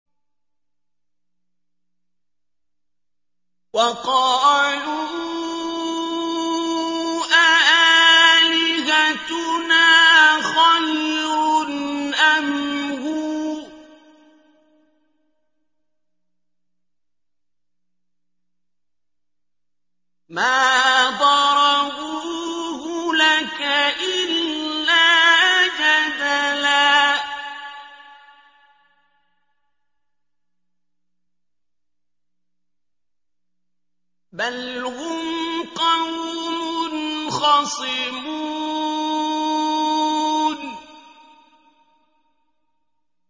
وَقَالُوا أَآلِهَتُنَا خَيْرٌ أَمْ هُوَ ۚ مَا ضَرَبُوهُ لَكَ إِلَّا جَدَلًا ۚ بَلْ هُمْ قَوْمٌ خَصِمُونَ